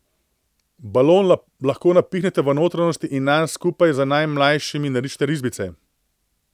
Balon lahko napihnete v notranjosti in nanj skupaj z najmlajšimi narišete risbice.